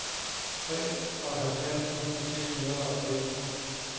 treoghalvfjerds tusind seks hundrede og fem